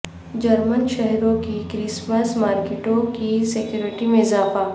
German شہروں کی Christmas مارکیٹوں کی سکیورٹی میں اضافہ